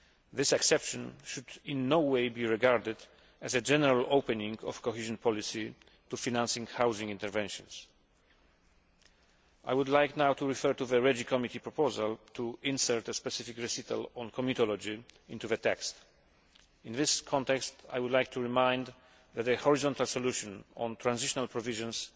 This exception should in no way be regarded as a general opening of cohesion policy to financing housing interventions. I would like now to refer to the proposal by the Committee on Regional Development to insert a specific recital on comitology into the text. In this context, I would like to remind you that a horizontal solution of transitional provisions